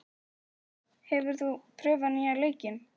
Viggó, hefur þú prófað nýja leikinn?